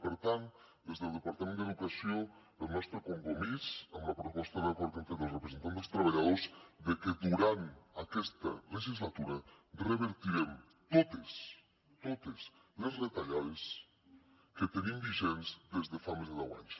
i per tant des del departament d’educació hi ha el nostre compromís amb la proposta d’acord que hem fet als representants dels treballadors de que durant aquesta legislatura revertirem totes totes les retallades que tenim vigents des de fa més de deu anys